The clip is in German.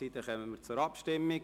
Somit kommen wir zur Abstimmung.